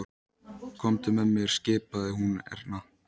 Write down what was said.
Komdu með mér skipaði hún Erni.